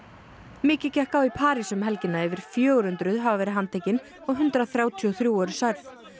mikið gekk á í París um helgina yfir fjögur hundruð hafa verið handtekin og hundrað þrjátíu og þrjú eru særð